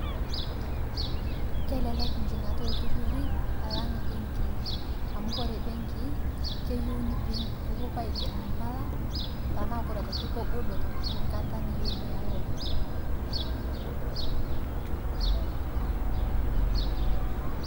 Kelelek enjing'ata oltururi alang imbenkii. Amuu oore imbenkii keyieu nepuoi aiger impala, tenaa koore aitoki kegol esaa niyieu niiya loan.